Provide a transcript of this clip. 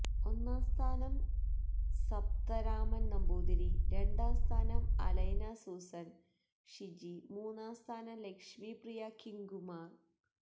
ഒന്നാം സ്ഥാനം സപ്താ രാമൻ നമ്പൂതിരി രണ്ടാം സ്ഥാനം അലൈന സുസൻ ഷിജി മൂന്നാം സ്ഥാനം ലക്ഷ്മി പ്രിയ കിങ്കുമാർ